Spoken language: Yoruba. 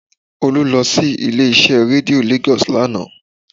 Olú lọ sí ilé-iṣẹ́ rédíó Lagos lánàá